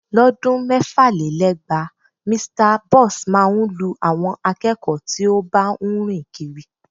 Lọ́dún mẹ́fàlélẹ́gbàá, Mr Boss máa ń lu àwọn akẹ́kọ̀ọ́ tí ó bá ń rìn kiri